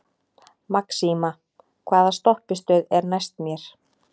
Maxima, hvaða stoppistöð er næst mér?